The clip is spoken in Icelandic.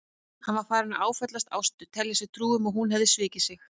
Hann var farinn að áfellast Ástu, telja sér trú um að hún hefði svikið sig.